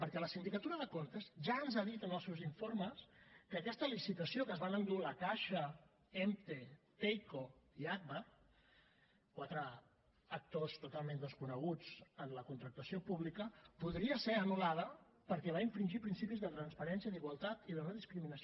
perquè la sindicatura de comptes ja ens ha dit en els seus informes que aquesta licitació que es van endur la caixa emte teyco i agbar quatre actors totalment desconeguts en la contractació pública podria ser anul·lada perquè va infringir principis de transparència d’igualtat i de no discriminació